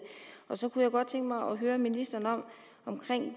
så kunne godt tænke mig at høre ministeren om